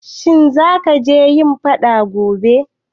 Shin zaka je yin faɗa gobe?